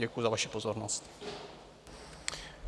Děkuji za vaši pozornost.